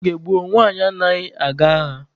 N'oge gboo, nwaanyị anaghị aga agha.